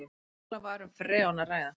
Mögulega var um freon að ræða